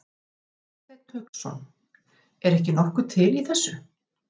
Hafsteinn Hauksson: Er ekki nokkuð til í þessu?